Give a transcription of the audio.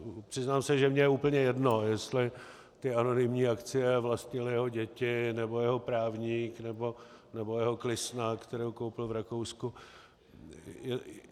Přiznám se, že mně je úplně jedno, jestli ty anonymní akcie vlastnily jeho děti, nebo jeho právník, nebo jeho klisna, kterou koupil v Rakousku.